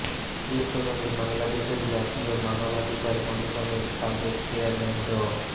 এ প্রসঙ্গে বাংলাদেশের জাতীয় মানবাধিকার কমিশনের সাবেক চেয়ারম্যান ড